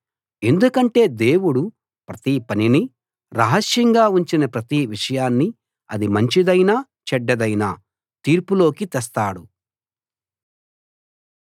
ఎందుకంటే దేవుడు ప్రతి పనినీ రహస్యంగా ఉంచిన ప్రతి విషయాన్నీ అది మంచిదైనా చెడ్డదైనా తీర్పులోకి తెస్తాడు